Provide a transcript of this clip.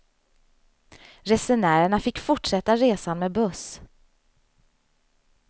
Resenärerna fick fortsätta resan med buss.